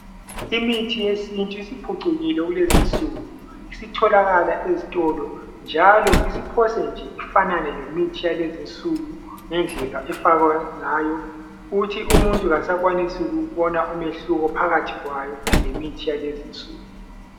Imithi yesintu isiphucukile kulezinsuku. Isitholakala ezitolo njalo isiphose nje ifanane lemithi yalezinsuku ngendlela efakwa ngayo, ukuthi umuntu kasakwanisi ukubona umehluko phakathi kwayo lemithi yalezinsuku.